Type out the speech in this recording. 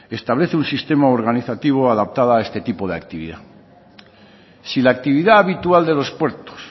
establece un sistema organizativo adaptada a este tipo de actividad si la actividad habitual de los puertos